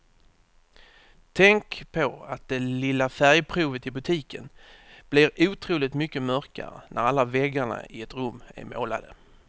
Tänk på att det lilla färgprovet i butiken blir otroligt mycket mörkare när alla väggarna i ett rum är målade.